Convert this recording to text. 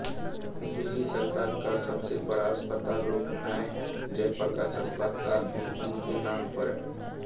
दिल्ली सरकार का सबसे बड़ा अस्पताल लोकनायक जयप्रकाश अस्पताल भी उनके नाम पर है